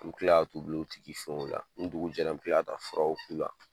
U bɛ kila k'a t'u gulon o tigi fɛnw la, ni dugu jɛra me kila ka taa furaw k'u la.